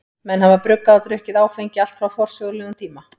Menn hafa bruggað og drukkið áfengi allt frá forsögulegum tíma.